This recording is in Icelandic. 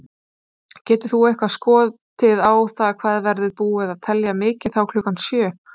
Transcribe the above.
Getur þú eitthvað skotið á það hvað verður búið að telja mikið þá klukkan sjö?